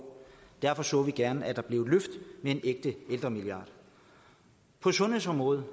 derfor så vi gerne at der blev et løft med en ægte ældremilliard på sundhedsområdet